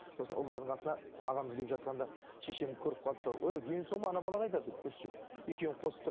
сосын ұлдардың қасына ағамыз келіп жатқанда шешем көріп қалды да өй дені сау ма бала қайда деп екеуін